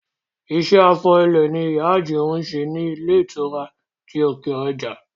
Iṣẹ́ afọ ilẹ̀ ni ìyá Àjìún ń ṣe ní ilé ìtura ti òkè ọjà